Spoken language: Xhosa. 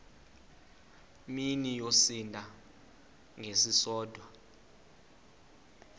mini yosinda ngesisodwa